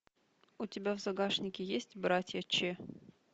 у тебя в загашнике есть братья че